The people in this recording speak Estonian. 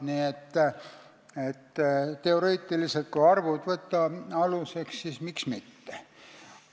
Nii et teoreetiliselt – kui arvud aluseks võtta, siis miks ka mitte.